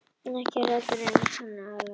En ekki eru allir eiginleikar aðlaganir.